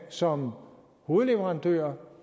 som hovedleverandør